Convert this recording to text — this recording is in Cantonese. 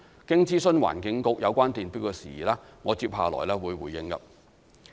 經諮詢環境局有關電錶的事宜，我接下來會作回應。